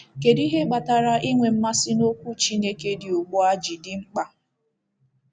Kedu ihe kpatara inwe mmasị n’Okwu Chineke dị ugbu a ji dị mkpa?